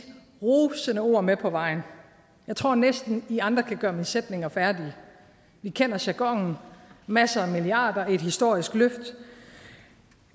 rosende ord med på vejen jeg tror næsten at i andre kan gøre mine sætninger færdige vi kender jargonen masser af milliarder et historisk løft